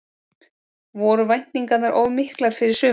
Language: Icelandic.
Voru væntingarnar of miklar fyrir sumarið?